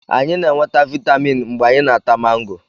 Anyị na-enweta vitamin mgbe anyị na-ata mango